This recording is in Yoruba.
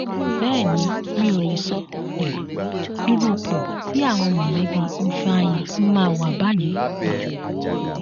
bẹẹ ni mi ò lè sọ um irú ipò tí àwọn mọlẹbí ifeanyi máa wà báyìí um